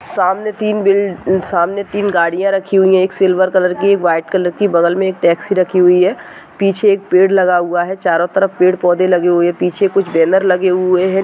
सामने तीन बिल सामने तीन गाड़ियां रखी हुई है एक सिल्वर कलर की एक व्हाइट कलर की बगल में एक टैक्सी रखी हुई है पीछे एक पेड़ लगा हुआ है। चारो तरफ पेड़-पौधे लगे हुए है पीछे कुछ बैनर लगे हुए है।